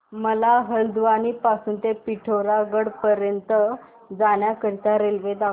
मला हलद्वानी पासून ते पिठोरागढ पर्यंत जाण्या करीता रेल्वे दाखवा